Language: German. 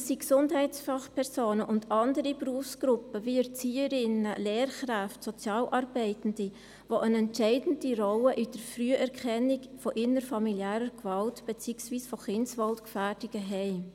Es sind Gesundheitsfachpersonen und andere Berufsgruppen, wie Erzieherinnen, Lehrkräfte, Sozialarbeitende, welche eine entscheidende Rolle bei der Früherkennung von innerfamiliärer Gewalt, beziehungsweise von Kindeswohlgefährdungen haben.